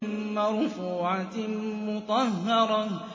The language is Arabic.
مَّرْفُوعَةٍ مُّطَهَّرَةٍ